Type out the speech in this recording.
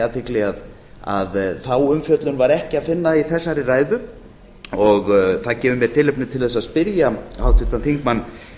athygli að þá umfjöllun var ekki að finna í þessari ræðu það gefur mér tilefni til þess að spyrja háttvirtan þingmann